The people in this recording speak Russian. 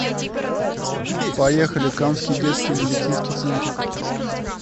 поехали камский детский медицинский центр